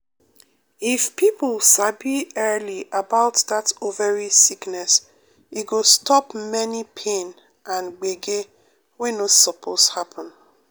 if people sabi early about that ovary sickness e go stop many pain and gbege wey no suppose happen.